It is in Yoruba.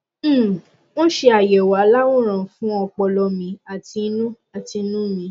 um wọn ṣe àyẹwò aláwòrán fún ọpọlọ mi àti inú àti inú mi